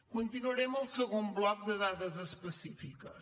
continuaré amb el segon bloc de dades específiques